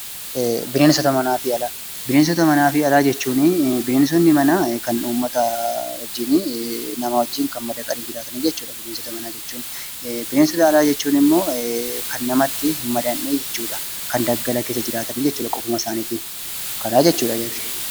Bineensota manaa jechuun namaa wajjin kan madaqanii jiraatan jechuudha. Bineensota alaa jechuun immoo kan namatti osoo hin madaqin bosona yookiin daggala keessa jiraatan jechuudha.